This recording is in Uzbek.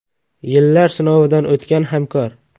Yillar sinovidan o‘tgan hamkor.